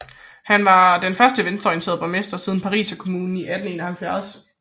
Han var den første venstreorienterede borgmester siden Pariserkommunen i 1871